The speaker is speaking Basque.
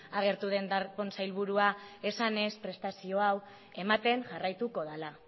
agertu den darpón sailburua esanez prestazio hau ematen jarraituko dala